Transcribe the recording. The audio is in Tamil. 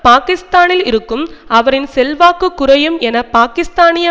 பாக்கிஸ்தானில் இருக்கும் அவரின் செல்வாக்கு குறையும் என பாக்கிஸ்தானிய